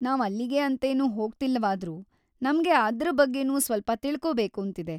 ನಾವ್‌ ಅಲ್ಲಿಗೆ ಅಂತೇನು ಹೋಗ್ತಿಲ್ಲವಾದ್ರೂ ನಮ್ಗೆ ಅದ್ರ ಬಗ್ಗೆನೂ ಸ್ಪಲ್ಪ ತಿಳ್ಕೋಬೇಕೂಂತಿದೆ.